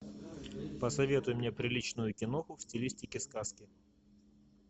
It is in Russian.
посоветуй мне приличную киноху в стилистике сказки